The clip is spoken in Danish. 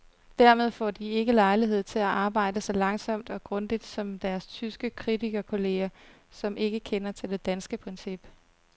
Dermed får de ikke lejlighed til at arbejde så langsomt og grundigt som deres tyske kritikerkolleger, som ikke kender til det danske princip.